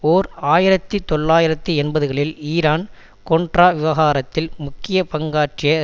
ஓர் ஆயிரத்தி தொள்ளாயிரத்து எண்பதுகளில் ஈரான் கொன்ட்ரா விவகாரத்தில் முக்கிய பங்காற்றிய